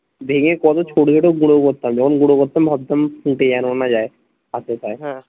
ভেঙে কত ছোট ছোট গুঁড়ো করতাম যখন গুঁড়ো করতাম ভাবতাম ফুঁটে যেন না যায় হাতে পায়ে